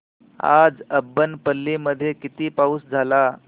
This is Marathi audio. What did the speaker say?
आज अब्बनपल्ली मध्ये किती पाऊस झाला